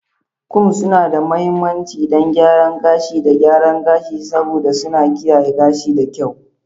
Combs suna da mahimmanci don gyaran gashi da gyaran gashi, saboda suna kiyaye gashi da kyau.